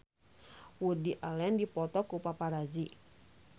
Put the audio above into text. Woody Allen dipoto ku paparazi